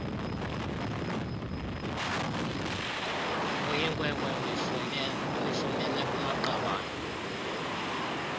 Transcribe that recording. uyinkwenkwe uyifumene kumaqabane